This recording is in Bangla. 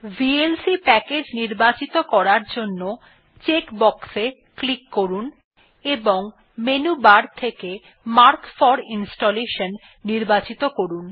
ভিএলসি প্যাকেজ নির্বাচিত করার জন্য চেক বক্স এ ক্লিক করুন এবং মেনু বার থেকে মার্ক ফোর ইনস্টলেশন নির্বাচিত করুন